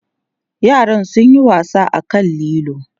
yaran sun Yi wasa a kan lilo